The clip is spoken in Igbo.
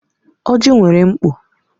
Ọjị nwere mkpo.